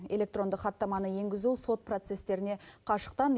электронды хаттаманы енгізу сот процестеріне қашықтан